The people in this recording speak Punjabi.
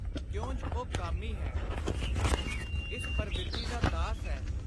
ਕਿਉਂਜ ਉਹ ਕਾਮੀ ਹੈ; ਇਸ ਪਰਵਿਰਤੀ ਦਾ ਦਾਸ ਹੈ।